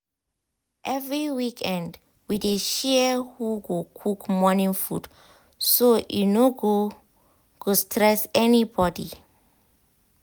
every weekend we dey share who go cook morning food so e no go go stress anybody.